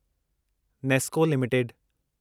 Nesco limited